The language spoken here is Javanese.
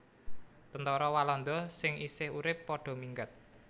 Tentara Walanda sing isih urip padha minggat